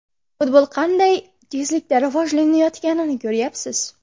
Futbol qanday tezlikda rivojlanayotganini ko‘ryapsiz.